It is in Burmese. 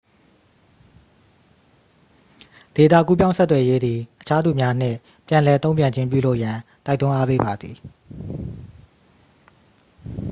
ဒေတာကူးပြောင်းဆက်သွယ်ရေးသည် အခြားသူများနှင့် ပြန်လှန်တုံ့ပြန်ခြင်းပြုလုပ်ရန် တိုက်တွန်းအားပေးပါသည်